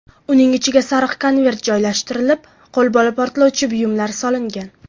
Uning ichiga sariq konvert joylashtirib, qo‘lbola portlovchi buyumlar solingan.